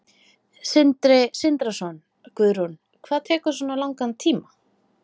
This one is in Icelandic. Sindri Sindrason: Guðrún, hvað tekur svona langan tíma?